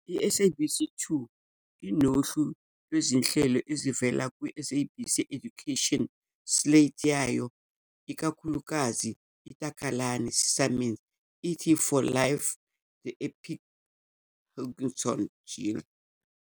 I-SABC 2 inohlu lwezinhlelo ezivela kwi-SABC Education slate yayo, ikakhulukazi iTakalani Sesame, It's For Life, The Epic Hangout, njll.